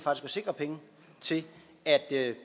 sikre penge til at